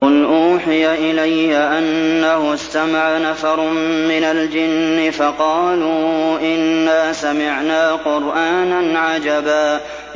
قُلْ أُوحِيَ إِلَيَّ أَنَّهُ اسْتَمَعَ نَفَرٌ مِّنَ الْجِنِّ فَقَالُوا إِنَّا سَمِعْنَا قُرْآنًا عَجَبًا